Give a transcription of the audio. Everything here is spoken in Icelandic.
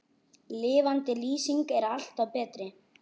Lifandi lýsing er alltaf betri.